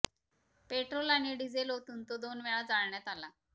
petrol आणि diesel ओतून तो दोन वेळा जाळण्यात आला